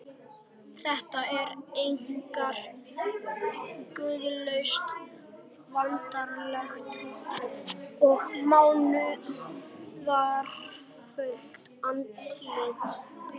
Þetta var einkar guðlaust, veraldlegt og munúðarfullt andlit.